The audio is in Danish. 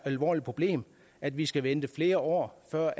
alvorligt problem at vi skal vente flere år før